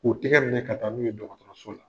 O tɛgɛ minɛ ka taa n'u ye dɔgɔtɔrɔso ye